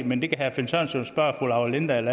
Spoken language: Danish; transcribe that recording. men det kan herre finn sørensen spørge fru laura lindahl